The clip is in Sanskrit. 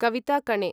कवित कणे